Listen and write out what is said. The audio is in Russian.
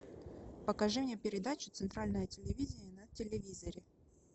покажи мне передачу центральное телевидение на телевизоре